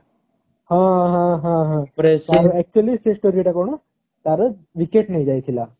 ହଁ ହଁ ହଁ ହଁ actually ସେ story ଟା କଣ ତାର wicket ନେଇ ଯାଇଥିଲା